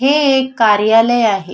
हे एक कार्यालय आहे.